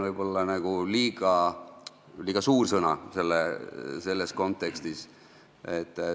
See on võib-olla liiga suur sõna selles kontekstis.